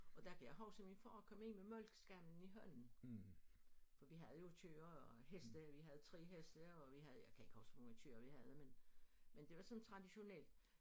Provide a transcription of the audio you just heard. Og der kan jeg huske at min far kom ind med malkeskamlen i hånden for vi havde jo tyre og heste vi havde 3 heste og vi havde jeg kan ikke huske hvor mange tyre vi havde men det var sådan traditionelt